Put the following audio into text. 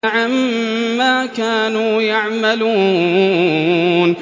عَمَّا كَانُوا يَعْمَلُونَ